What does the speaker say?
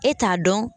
E t'a dɔn